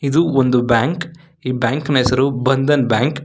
ಇದು ಒಂದು ಬ್ಯಾಂಕ್ ಈ ಬ್ಯಾಂಕ್ ನ ಹೆಸರು ಬಂಧನ್ ಬ್ಯಾಂಕ್ .